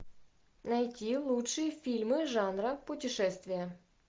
найти лучшие фильмы жанра путешествия